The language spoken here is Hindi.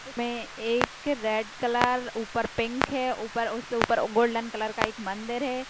मे एक रेड कलर ऊपर पिंक है और ऊपर उससे ऊपर गोल्डन कलर का एक मंदिर है।